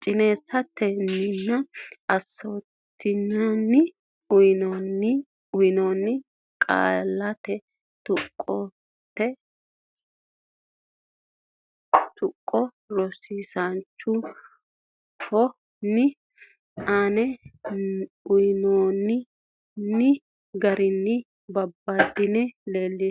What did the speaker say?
chin sat ten nni nyoo tun uynoonni qaallata qoonqote tuqqo rosiisaanchi o ne aanno ne uytanno ne garinni babbaddine leellishshe.